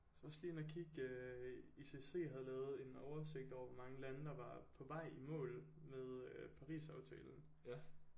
Så var jeg også lige inde at kigge øh I C S C havde lavet en oversigt over hvor mange lande der var på vej i mål med øh Paris aftalen